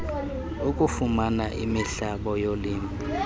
okufumana imihlaba yolimo